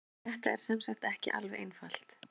Þetta er sem sagt ekki alveg einfalt.